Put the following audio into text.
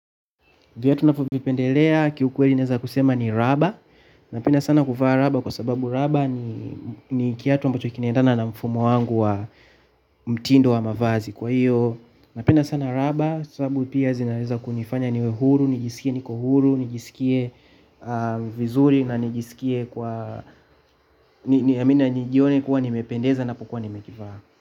Viatu ninavyo vipendelea kiukweli naeza kusema ni raba. Napenda sana kuvaa raba kwa sababu raba ni ni kiatu ambacho kinaendana na mfumo wangu wa mtindo wa mavazi. Kwa hiyo napenda sana raba sababu pia zinaweza kunifanya niwe huru, nijisikie niko huru, nijisikie vizuri na nijisikie kwa na nijione kuwa nimependeza napokua nimekivaa.